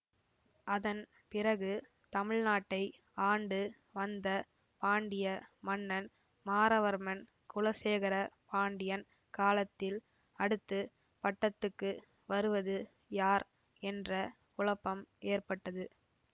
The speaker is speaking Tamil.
அதன் பிறகு தமிழ்நாட்டை ஆண்டு வந்த பாண்டிய மன்னன் மாறவர்மன் குலசேகர பாண்டியன் காலத்தில் அடுத்து பட்டத்துக்கு வருவது யார் என்ற குழப்பம் ஏற்பட்டது